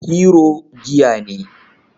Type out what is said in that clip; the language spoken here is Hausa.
Hero giya ne.